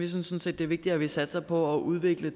sådan set det er vigtigere at vi satser på at udvikle